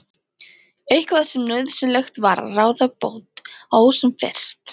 Eitthvað sem nauðsynlegt var að ráða bót á sem fyrst.